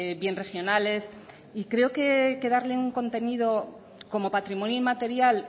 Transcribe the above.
bien regionales y creo que hay que darle un contenido como patrimonio inmaterial